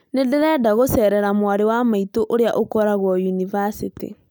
Nĩ ndirenda gũceerera mwarĩ wa maitũ ũrĩa ũkoragwo yunivasĩtĩ